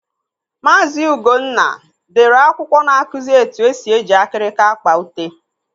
Maazi Ugonna dere akwụkwọ na-akụzi etu esi eji akirika akpa ute.